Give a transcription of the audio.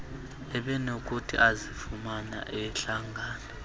ebenokuthi azifumane ehlangana